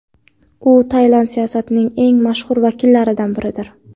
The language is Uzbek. U Tailand siyosatining eng mashhur vakillaridan biridir.